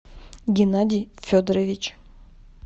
геннадий федорович